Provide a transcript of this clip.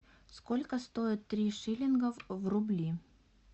сколько стоит три шиллингов в рубли